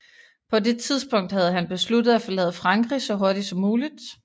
På det tidspunkt havde han besluttet at forlade Frankrig så hurtigt som muligt